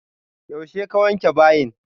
Yaushe ka wanke bayin?